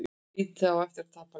Liðið á eftir að tapa leik